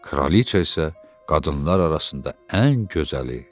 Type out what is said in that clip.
Kraliça isə qadınlar arasında ən gözəli.